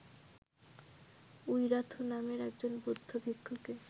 Wirathu নামে একজন বৌদ্ধ ভিক্ষুকে